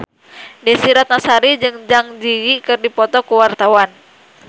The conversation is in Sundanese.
Desy Ratnasari jeung Zang Zi Yi keur dipoto ku wartawan